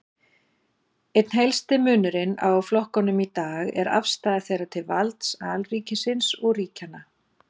Einn helsti munurinn á flokkunum í dag er afstaða þeirra til valds alríkisins og ríkjanna.